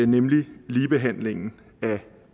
nemlig ligebehandlingen af